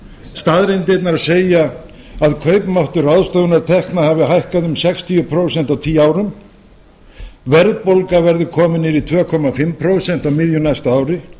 staðreyndirnar segja að kaupmáttur ráðstöfunartekna hafi hækkað um sextíu prósent á tíu árum verðbólga verði komin niður í tvö og hálft prósent á miðju næsta ári